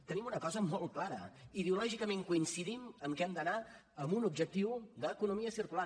tenim una cosa molt clara ideològicament coincidim en que hem d’anar amb un objectiu d’economia circular